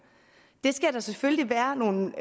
det skal der selvfølgelig være nogle